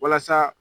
Walasa